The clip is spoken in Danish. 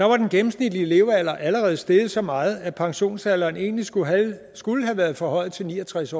var den gennemsnitlige levealder allerede steget så meget at pensionsalderen egentlig skulle have skulle have været forhøjet til ni og tres